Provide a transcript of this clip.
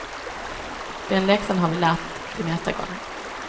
Den läxan har vi lärt till nästa gång.